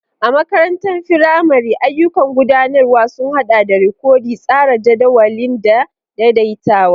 A makarantar firamare, ayyukan gudanarwa sun haɗa da rikodi, tsara jadawalin, da daidaitawa.